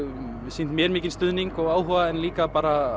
sýnt mér mikinn stuðning og áhuga en líka